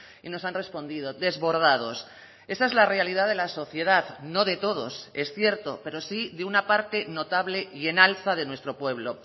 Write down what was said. y nos han respondido desbordados esa es la realidad de la sociedad no de todos es cierto pero sí de una parte notable y en alza de nuestro pueblo